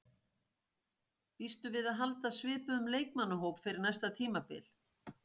Býstu við að halda svipuðum leikmannahóp fyrir næsta tímabil?